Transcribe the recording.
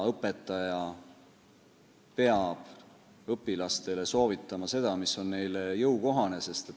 Õpetaja peab õpilastele soovitama seda, mis on neile jõukohane.